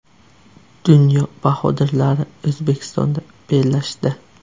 Dunyo bahodirlari O‘zbekistonda bellashdi .